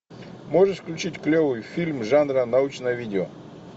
можешь включить клевый фильм жанра научное видео